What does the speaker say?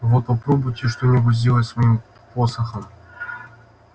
вот попробуйте что-нибудь сделать с моим посохом